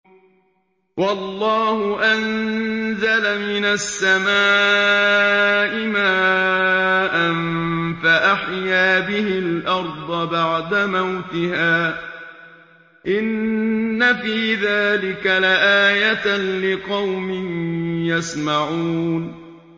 وَاللَّهُ أَنزَلَ مِنَ السَّمَاءِ مَاءً فَأَحْيَا بِهِ الْأَرْضَ بَعْدَ مَوْتِهَا ۚ إِنَّ فِي ذَٰلِكَ لَآيَةً لِّقَوْمٍ يَسْمَعُونَ